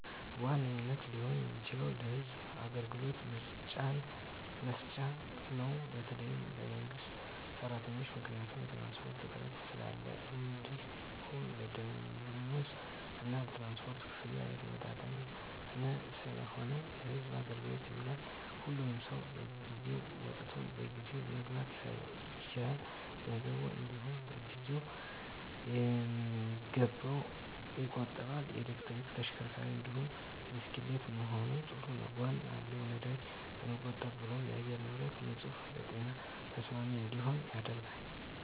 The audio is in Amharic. በዋነኝነት ሊሆን የሚችለው ለህዝብ አገልግሎት መስጫ ነው በተለይ ለመንግስት ሰራተኞች። ምክንያቱም የትራንስፖርት እጥረት ስላለ እንዲሁም የደምወዝ እና የትራንስፖርት ክፍያ የተመጣጠነ ስላልሆነ ለህዝብ አገልግሎት ይውላል። ሁሉም ሰው በጊዜ ወጥቶ በጊዜ መግባት ይችላል፣ ገንዘቡን እንዲውም ጊዜውን በሚገባ ይቆጥባል። የኤሌክትሪክ ተሽከርካሪ እንዲሁም ብስክሌት መሆኑ ጥሩ ጎን አለው ነዳጅ ለመቆብ ብሎም የአየር ንብረቶች ንፁህ ለጤና ተስማሚ እንዲሆኑ ያደርጋል።